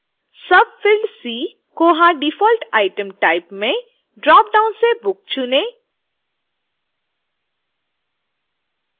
subfield c: koha default item type में dropdown से book चुनें